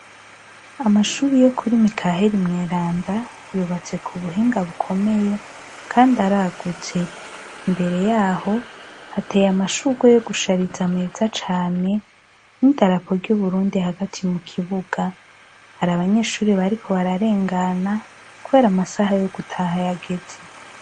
Amashuri yo kuri Mikaheri mweranda yubatse kubuhinga bukomeye Kandi aragutse, imbere yaho hateye amashurwe yo gushariza meza cane n'idarapo ry'aUburundi hagati mu ikibuga, hari abanyeshure bariko bararengana kubera amasaha yo gutaha yageze.